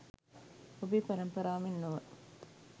ඔබේ පරම්පරාව මෙන් නොව